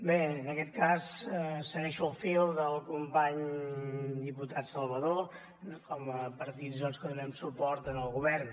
bé en aquest cas segueixo el fil del company diputat salvadó com a partits doncs que donem suport al govern